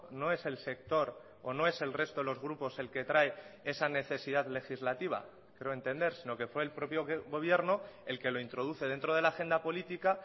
no es el sector o no es el resto de los grupos el que trae esa necesidad legislativa creo entender sino que fue el propio gobierno el que lo introduce dentro de la agenda política